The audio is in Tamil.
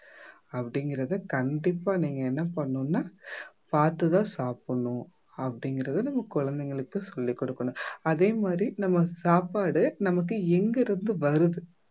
அப்படிங்கறதை கண்டிப்பா நீங்க என்ன பண்ணனும்னா பாத்து தான் சாப்பிடணும். அப்படிங்கறதை நம்ம குழந்தைங்களுக்கு சொல்லிக் கொடுக்கணும் அதே மாதிரி நம்ம சாப்பாடு நமக்கு எங்கிருந்து வருது